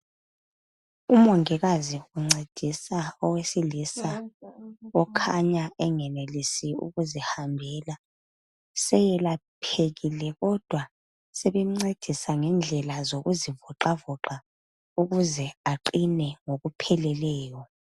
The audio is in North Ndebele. Umongikazi uncedisa owesilisa okhanya engenelisi ukuzihambela seyelaphekile kodwa sebemncedisa ngendlela zoku zivoxavoxa ukuze aqine ngokupheleleyo.